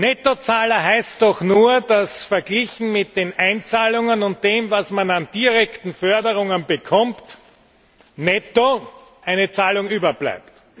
Nettozahler heißt doch nur, dass verglichen mit den Einzahlungen und dem, was man an direkten Förderungen bekommt, netto eine Zahlung überbleibt.